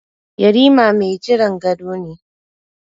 Yarima mai jiran gado ne.